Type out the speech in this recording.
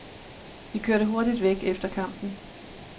Vi kørte hurtigt væk efter kampen.